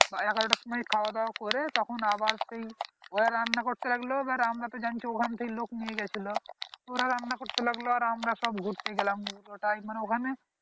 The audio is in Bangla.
এগারো টার সময়ে খাওয়া দাওয়া করে তখন আবার সেই ওরা রান্না করতে লাগলো এবার আমরা তো জানছি ওইখানে থেকে লোক নিয়ে গিয়েছিলো ওরা রান্না করতে লাগলো আর আমরা সব ঘুরতে গেলাম পুরো টাই মানে ওখানে